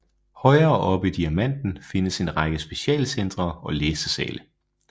Højere oppe i Diamanten findes en række specialcentre og læsesale